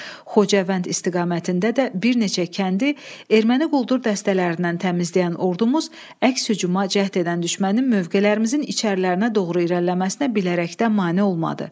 Xocavənd istiqamətində də bir neçə kəndi erməni quldur dəstələrindən təmizləyən ordumuz əks-hücuma cəhd edən düşmənin mövqelərimizin içərilərinə doğru irəliləməsinə bilərəkdən mane olmadı.